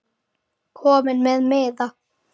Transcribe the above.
Kominn með miða?